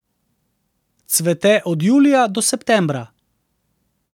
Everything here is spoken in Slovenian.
Cvete od julija do septembra.